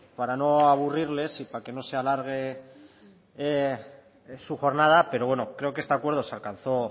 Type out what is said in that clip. para no aburrirles y para que no se alargue su jornada pero bueno creo que este acuerdo se alcanzó